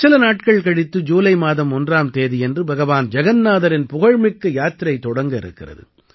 சில நாட்கள் கழித்து ஜூலை மாதம் 1ஆம் தேதியன்று பகவான் ஜகன்னாதரின் புகழ்மிக்க யாத்திரை தொடங்க இருக்கிறது